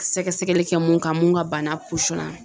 Sɛgɛsɛgɛli kɛ mun kan mun ka bana posɔn